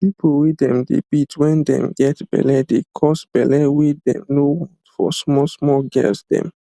people wey them dey beat when them get belle de cause belle wey them no want for small small girls them